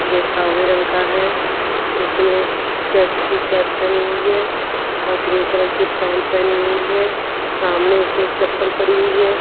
ये सावले रंग का है इसने चेक्स की शर्ट पहनी हुई है और ग्रे कलर की पैंट पहनी हुई है सामने इसलिए एक चप्पल पड़ी हुई है।